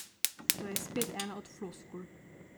To je spet ena od floskul.